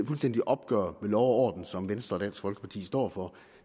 fuldstændige opgør med lov og orden som venstre og dansk folkeparti står for